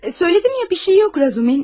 Söylədim ya, bir şey yox Razumin.